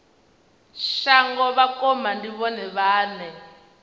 shango vhakoma ndi vhone vhane